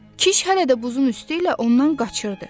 Kişi hələ də buzun üstü ilə ondan qaçırdı.